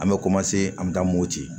An bɛ an bɛ taa mopti